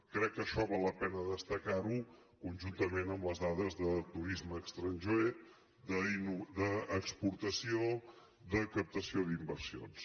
crec que això val la pena destacar·ho conjuntament amb les dades de tu·risme estranger d’exportació de captació d’inversions